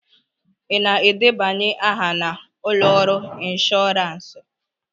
Ị na-edebanye aha na ụlọ ọrụ ịnshoransị?